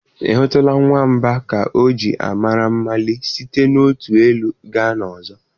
Ị hụtụla nwamba ka o ji amara malie site n'otu elu gaa n'ọzọ?